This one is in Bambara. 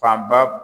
Fanba